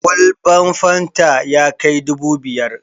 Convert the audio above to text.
Kwalban fanta ya kai dubu biyar.